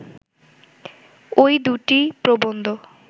ঐ দুইটি প্রবন্ধ